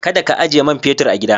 Kada ka ajiye man fetur a gida.